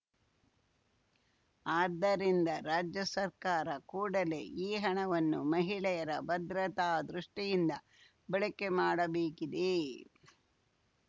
ಆದ್ದರಿಂದ ರಾಜ್ಯ ಸರ್ಕಾರ ಕೂಡಲೇ ಈ ಹಣವನ್ನು ಮಹಿಳೆಯರ ಭದ್ರತಾ ದೃಷ್ಟಿಯಿಂದ ಬಳಕೆ ಮಾಡಬೇಕಿದೆ